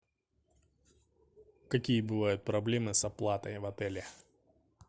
какие бывают проблемы с оплатой в отеле